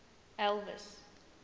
elvis